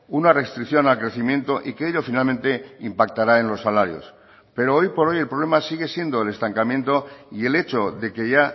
una restricción al crecimiento y que ello finalmente impactará en los salarios pero hoy por hoy el problema sigue siendo el estancamiento y el hecho de que ya